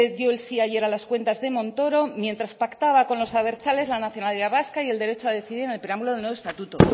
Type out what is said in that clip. dio el sí ayer a las cuentas de montoro mientras pactaba con los abertzales la nacionalidad vasca y el derecho a decidir en el preámbulo del nuevo estatuto